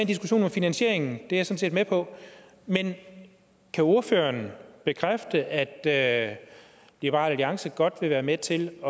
diskussion om finansieringen det er set med på men kan ordføreren bekræfte at at liberal alliance godt vil være med til at